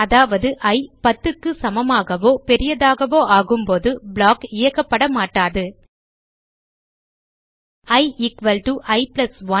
அதாவது இ 10 க்கு சமமாகவோ பெரியதாகவோ ஆகும்போது ப்ளாக் இயக்கப்படமாட்டாது i i1